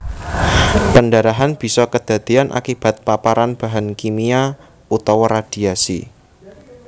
Pendarahan bisa kedadéyan akibat paparan bahan kimia utawa radhiasi